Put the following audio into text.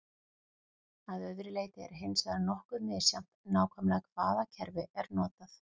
að öðru leyti er hins vegar nokkuð misjafnt nákvæmlega hvaða kerfi er notað